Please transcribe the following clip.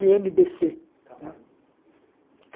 ême bê cê né